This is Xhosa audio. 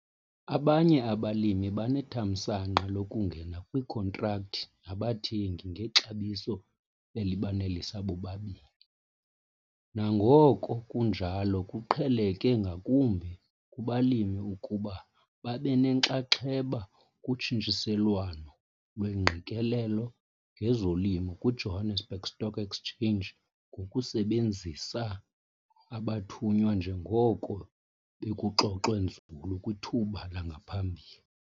Abanye abalimi banethamsanqa lokungena kwiinkhontrakthi nabathengi ngexabiso elibanelisa bobabini nangona kunjalo kuqheleke ngakumbi kubalimi ukuba babe nenxaxheba kutshintshiselwano lwengqikelelo ngezolimo kwiJohannesburg Stock Exchange ngokusebenzisa abathunywa njengoko bekuxoxwe nzulu kwithuba langaphambili.